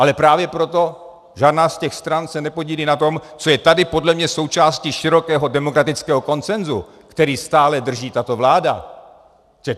Ale právě proto žádná z těch stran se nepodílí na tom, co je tady podle mě součástí širokého demokratického konsenzu, který stále drží tato vláda.